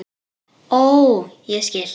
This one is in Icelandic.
Ó, ég skil!